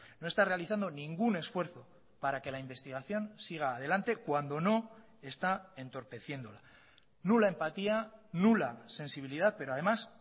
no está realizando ningún esfuerzo para que la investigación siga adelante cuando no está entorpeciéndola nula empatía nula sensibilidad pero además